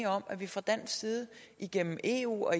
om at vi fra dansk side igennem eu og